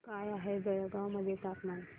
काय आहे बेळगाव मध्ये तापमान